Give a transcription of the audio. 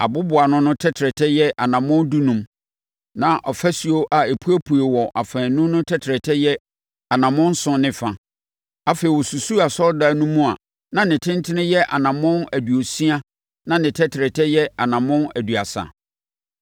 Aboboano no tɛtrɛtɛ yɛ anammɔn dunum, na afasuo a epuepue wɔ afaanu no tɛtrɛtɛ yɛ anammɔn nson ne fa. Afei ɔsusuu Asɔredan no mu a na ne tentene yɛ anammɔn aduosia na ne tɛtrɛtɛ yɛ anammɔn aduasa.